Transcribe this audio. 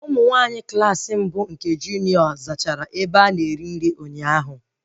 Ụmụ nwaanyị Klassị mbụ nke junio zachara ebe a na-eri nri ụnyaahụ